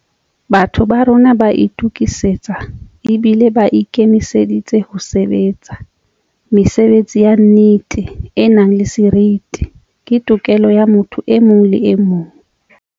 Batho ba rona ba itukisitse ebile ba ikemiseditse ho sebe tsa. Mesebetsi ya nnete, e nang le seriti, ke tokelo ya motho e mong le emong.